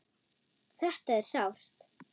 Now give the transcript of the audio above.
Þetta er sárt.